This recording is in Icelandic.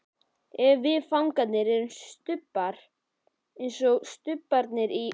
Ef við fangarnir erum stubbar, einsog stubbarnir í